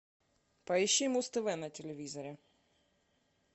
поищи муз тв на телевизоре